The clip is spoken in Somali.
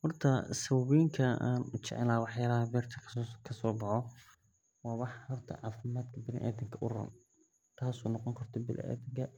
Horta sawabada an ujecelahay waa waxyalaha bilaadanka uron waxa waye macdunka waxyalaha qofka bilaadanka